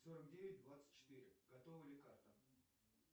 сорок девять двадцать четыре готова ли карта